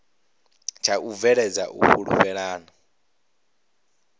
tsha u bveledza u fhulufhelana